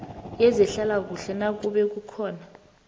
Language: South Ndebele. yezehlalakuhle nakube kukhona